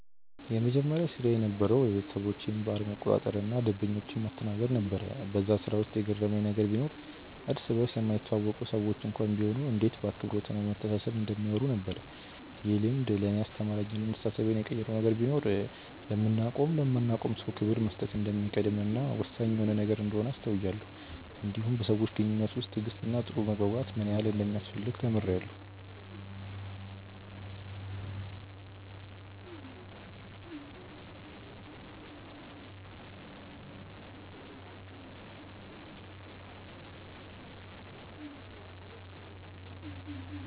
የመጀመሪያ ስራዬ የነበረዉ የቤተሰቦቼን ባር መቆጣጠር እና ደንበኞችን ማስተናገድ ነበር በዛ ስራ ውስጥ የገረመኝ ነገር ቢኖር እርስ በርስ የማይተዋወቁ ሰዎች እንኳን ቢሆኑ እንዴት በአክብሮት እና በመተሳሰብ እንደሚያወሩ ነበር። ይህ ልምድ ለእኔ ያስተማረኝ እና አስተሳሰቤን የቀየረው ነገር ቢኖር ለምናቀውም ለማናቀውም ሰው ክብር መስጠት እንደሚቀድም እና ወሳኝ የሆነ ነገር እንደሆነ አስተውያለው እንዲሁም በሰዎች ግንኙነት ውስጥ ትዕግስት እና ጥሩ መግባባት ምን ያህል እንደሚያስፈልግ ተምሬአለሁ።